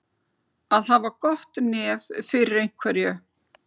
Að hafa gott nef fyrir einhverju